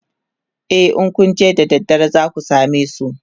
e in Kun je da daddare zaku samesu